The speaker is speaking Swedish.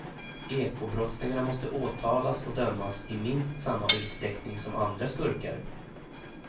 Ekobrottslingarna måste åtalas och dömas i minst samma utsträckning som andra skurkar.